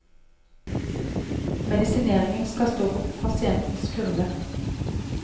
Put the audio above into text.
Medisineringen skal stå på pasientens kurve.